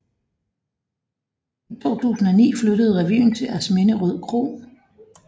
I 2009 flyttede revyen til Asminderød Kro